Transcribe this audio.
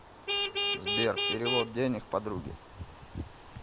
сбер перевод денег подруге